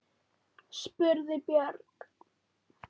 spurði Björg.